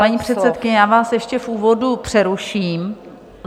Paní předsedkyně, já vás ještě v úvodu přeruším.